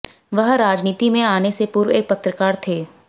वह राजनीति में आने से पूर्व एक पत्रकार थे